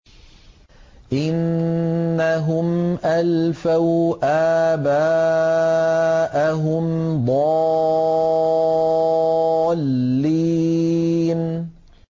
إِنَّهُمْ أَلْفَوْا آبَاءَهُمْ ضَالِّينَ